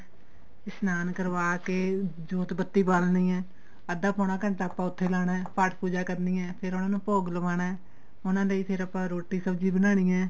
ਇਸ਼ਨਾਨ ਕਰਵਾ ਕੇ ਜੋਤ ਬਤੀ ਬਾਲਣੀ ਏ ਅੱਧਾ ਪੋਣਾ ਘੰਟਾ ਆਪਾਂ ਉੱਥੇ ਲਾਣਾ ਪਾਠ ਪੂਜਾ ਕਰਨੀ ਏ ਫੇਰ ਉਹਨਾ ਨੂੰ ਭੋਗ ਲਵਾਣਾ ਉਹਨਾ ਲਈ ਫੇਰ ਆਪਾਂ ਰੋਟੀ ਸਬਜੀ ਬਣਾਨੀ ਏ